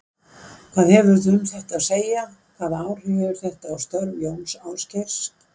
Hvað hefurðu um þetta að segja, hvaða áhrif hefur þetta á störf Jóns Ásgeirs?